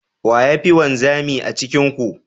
Wa ya fi wanzami a cikin ku?